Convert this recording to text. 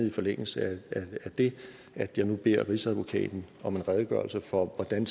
i forlængelse af det at jeg nu beder rigsadvokaten om en redegørelse for hvordan